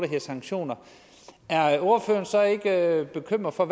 hedder sanktioner er ordføreren så ikke bekymret for